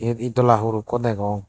ed dola hur ekku degong.